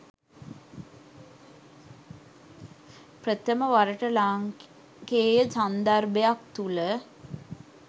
ප්‍රථම වරට ලාංකේය සන්දර්භයක් තුළ